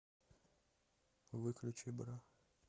выключи бра